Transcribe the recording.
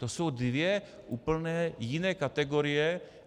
To jsou dvě úplně jiné kategorie.